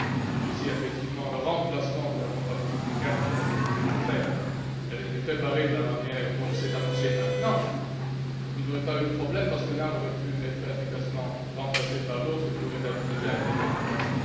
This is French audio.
Et si, effectivement, le remplacement de la compagnie publique ERT avait été fait et préparé de la manière dont c'est annoncé maintenant, il n'y aurait pas eu de problème parce que l'un aurait pu être efficacement remplacé par l'autre, qui aurait déjà été en place.